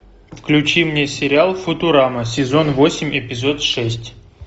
включи мне сериал футурама сезон восемь эпизод шесть